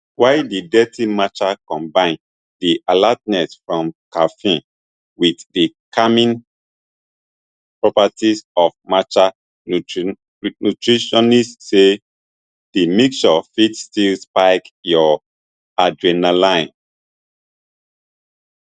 while di dirty matcha combine di alertness from caffeine wit di calming properties of matcha nutritionists say di mixture fit still spike your adrenaline